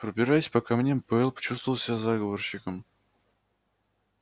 пробираясь по камням пауэлл чувствовал себя заговорщиком